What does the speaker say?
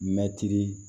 Mɛtiri